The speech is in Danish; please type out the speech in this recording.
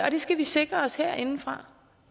og det skal vi sikre os herindefra